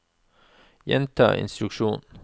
gjenta instruksjon